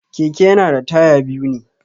Keke yana da taya biyu ne.